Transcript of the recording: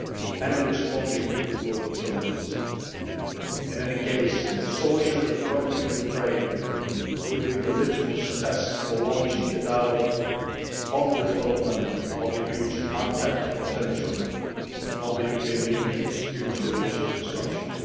and in responding to global challenges. In any case, the solution to the conflict in Ukraine will be the litmus test for launching a dialogue on the development of the huge untapped potential of the European Union's future relations with Russia.